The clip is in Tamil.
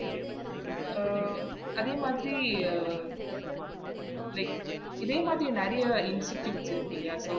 Okay அஹ் அதே மாதிரி அஹ் like இதே மாதிரி நெறைய institute இருக்குலையா so